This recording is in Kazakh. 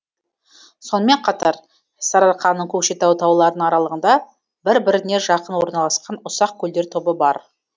сонымен қатар сарыарқаның көкшетау тауларының аралығында бір біріне жақын орналасқан ұсақ көлдер тобы бар